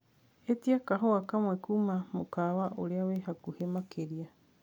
ĩtĩa kahũa kamwe kũma mũkawa uria wi hakũhi makĩrĩa